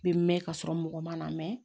Bɛ mɛn ka sɔrɔ mɔgɔ man mɛn